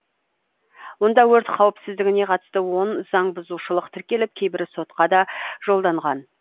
онда өрт қауіпсіздігіне қатысты он заң бұзушылық тіркеліп кейбірі сотқа да жолданған